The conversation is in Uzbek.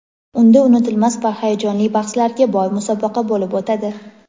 Unda unutilmas va hayajonli bahslarga boy musobaqa bo‘lib o‘tadi.